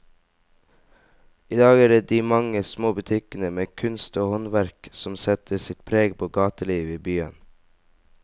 I dag er det de mange små butikkene med kunst og håndverk som setter sitt preg på gatelivet i byen.